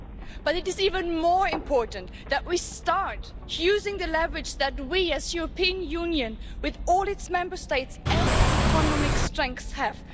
But it is even more important that we start using the leverage that we as the European Union, with all its Member States and its economic strengths, have.